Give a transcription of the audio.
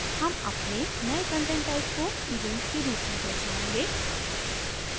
हम अपने नयें content type को events के रूप में दर्शायेंगे